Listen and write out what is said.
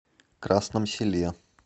красном селе